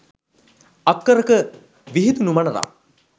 අක්කර ක විහිදුනු මනරම්